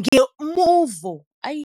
ngomuvo oyisiseko wobunzima, futhi uDalton wagqiba ngokuthi abize lemivo ngokuthi "amachwe".